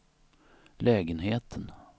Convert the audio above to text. lägenheten